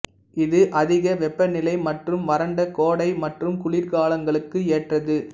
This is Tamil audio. இது அதிக வெப்பநிலை மற்றும் வறண்ட கோடை மற்றும் குளிர்காலங்களுக்கு ஏற்றது